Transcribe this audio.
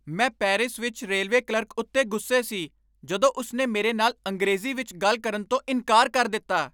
ਮੈਂ ਪੈਰਿਸ ਵਿੱਚ railway clerk ਉੱਤੇ ਗੁੱਸੇ ਸੀ ਜਦੋਂ ਉਸ ਨੇ ਮੇਰੇ ਨਾਲ ਅੰਗਰੇਜ਼ੀ ਵਿੱਚ ਗੱਲ ਕਰਨ ਤੋਂ ਇਨਕਾਰ ਕਰ ਦਿੱਤਾ।